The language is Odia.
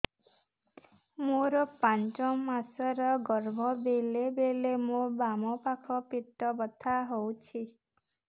ମୋର ପାଞ୍ଚ ମାସ ର ଗର୍ଭ ବେଳେ ବେଳେ ମୋ ବାମ ପାଖ ପେଟ ବଥା ହଉଛି